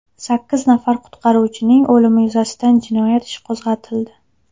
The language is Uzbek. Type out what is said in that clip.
Sakkiz nafar qutqaruvchining o‘limi yuzasidan jinoyat ishi qo‘zg‘atildi.